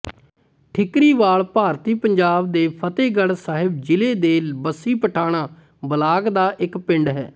ਠੀਕਰੀਵਾਲ ਭਾਰਤੀ ਪੰਜਾਬ ਦੇ ਫ਼ਤਹਿਗੜ੍ਹ ਸਾਹਿਬ ਜ਼ਿਲ੍ਹੇ ਦੇ ਬੱਸੀ ਪਠਾਣਾਂ ਬਲਾਕ ਦਾ ਇੱਕ ਪਿੰਡ ਹੈ